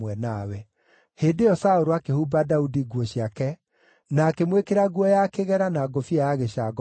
Hĩndĩ ĩyo Saũlũ akĩhumba Daudi nguo ciake na, akĩmwĩkĩra nguo ya kĩgera na ngũbia ya gĩcango mũtwe.